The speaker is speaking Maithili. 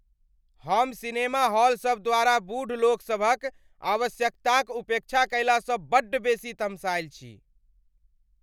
हम सिनेमा हॉल सब द्वारा बूढ़ लोक सभक आवश्यकताक उपेक्षा कएलासँ बड्ड बेसी तमसायल छी।